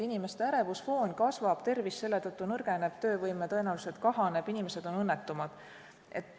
Inimeste ärevusfoon kasvab, tervis selle tõttu nõrgeneb, töövõime tõenäoliselt kahaneb, inimesed on õnnetumad.